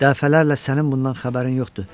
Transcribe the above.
Dəfələrlə sənin bundan xəbərin yoxdur.